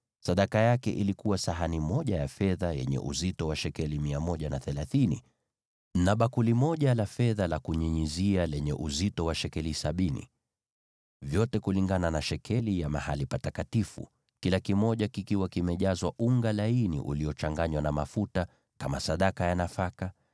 Sadaka aliyoleta ilikuwa sahani moja ya fedha yenye uzito wa shekeli 130, na bakuli moja la fedha la kunyunyizia lenye uzito wa shekeli sabini, vyote kulingana na shekeli ya mahali patakatifu, vikiwa vimejazwa unga laini uliochanganywa na mafuta kama sadaka ya nafaka;